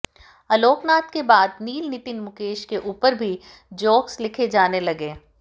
आलोक नाथ के बाद नील नितिन मुकेश के ऊपर भी जोक्स लिखे जाने लगे